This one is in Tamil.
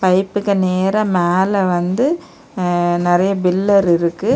பைபுக்கு நேர மேல வந்து நெறைய பில்லர் இருக்கு.